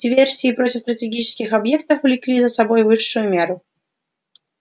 диверсии против стратегических объектов влекли за собой высшую меру